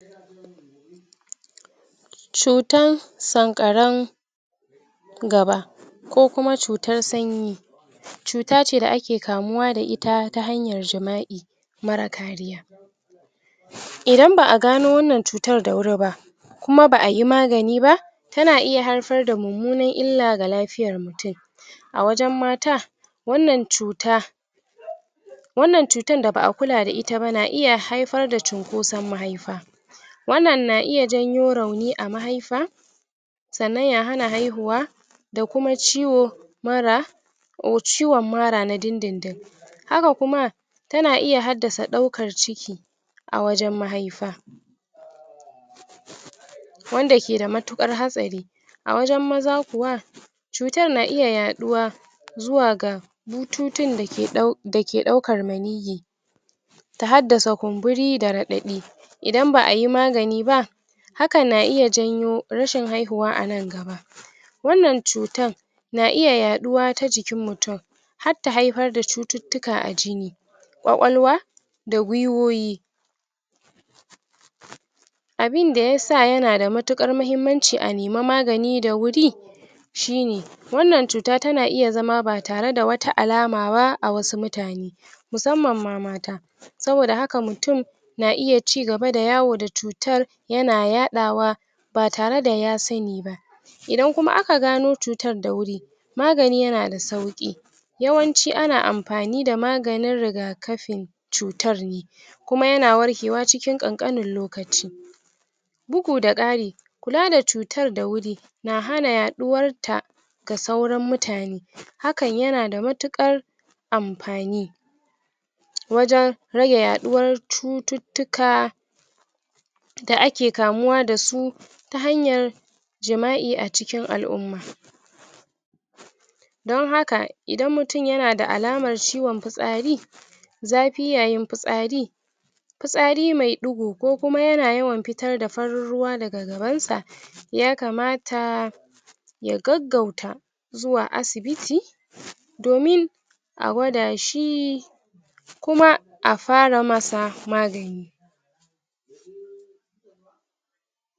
cutan sanƙaran gaba ko kuma cutan sanyi cuta ce da ake kamuwa da ita ta hanyar jima'i mara kariya idan ba a gano wannan cutar da wuri ba kuma ba a yi magani ba tana iya haifar da mummunan illa ga lafiyar mutum a wajen mata wannan cuta wannan cutan da ba a kula da ita ba na iya haifar da cunkoson mahaifa wannan na iya janyo rauni a mahaifa sannan ya hana haihuwa da kuma ciwo mura ciwon mara na dindindin haka kuma tana iya haddasa ɗaukar ciki a wajen mahaifa wanda ke da matuƙar hatsari a wajen maza kuwa cutar na iya yaɗuwa zuwa ga bututun da ke ɗau, da ke ɗaukar maniyyi ta haddasa kumburi da raɗaɗi idan ba a yi magani ba hakan na iya janyo rashin haihuwa a nan gaba wannan cutan na iya yaɗuwa ta jikin mutum har ta haifar da cututtuka a jini kwakwalwa da gwiwoyi abin da yasa yana da matuƙar muhimmanci a nema magani da wuri shi ne wannan cuta tana iya zama ba tare da wata alama ba a wasu mutane musamman ma mata saboda haka mutum na iya cigaba da yawo da cutar yana yaɗawa ba tare da ya sani ba idan kuma aka gano cutar da wuri magani yana da sauƙi yawanci ana amfani da maganin rigakafin cutar ne kuma yana warkewa cikin ƙanƙanin lokaci bugu da ƙari kula da cutar da wuri na hana yaɗuwarta ga sauran mutane hakan yana da matuƙar amfani wajen rage yaɗuwar cututtuka da ake kamuwa da su ta hanyar jima'i a cikin al'umma don haka idan mutum yana da alamar ciwon fitsari zafi yayin fitsari fitsari mai ɗigo ko kuma yana yawan fitar da farin ruwa daga gabansa yakamata ya gaggauta zuwa asibiti domin a gwada shi kuma a fara masa magani